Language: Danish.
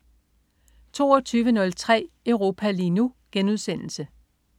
22.03 Europa lige nu*